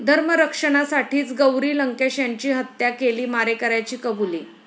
धर्मरक्षणासाठीच गौरी लंकेश यांची हत्या केली, मारेकऱ्याची कबुली